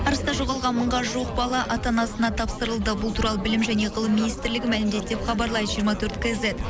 арыста жоғалған мыңға жуық бала ата анасына тапсырылды бұл туралы білім және ғылым министрлігі мәлімдеді деп хабарлайды жиырма төрт кизет